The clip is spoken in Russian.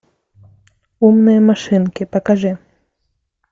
умные машинки покажи